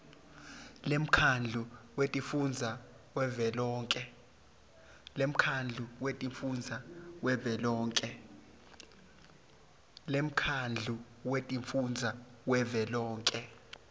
lemkhandlu wetifundza wavelonkhe